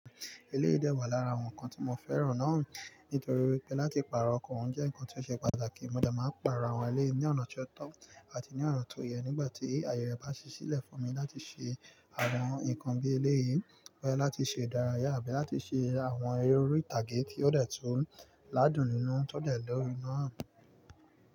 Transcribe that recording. Eléyìí dẹ́ wà lára àwọn nǹkan tí mo fẹ́ràn náà, nítorí pé láti pààrọ̀ ọkọ̀ ń jẹ́ nǹkan tí ó ṣe pàtàkì. Mo gbọdọ̀ máa pààrọ̀ àwọn eléyìí ní ọ̀nà tí ó tọ́, àti ní ọ̀rọ̀ tó yẹ nígbà tí ayẹrẹ bá ṣẹ sílẹ̀ fún mi láti ṣe àwọn nǹkan bíi eléyìí, bọ̀ya láti ṣe ìdárayá, àbí láti ṣe àwọn orítàgé tí ó dẹ̀ tún ládùn nínú tọ́dẹ̀ lọ́rí iná.